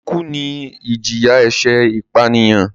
Ikú ni ìjìyà ẹ̀ṣẹ̀ ìpànìyàn